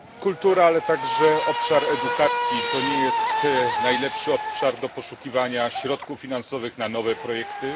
Kultura, ale także obszar edukacji, to nie jest najlepszy obszar do poszukiwania środków finansowych na nowe projekty.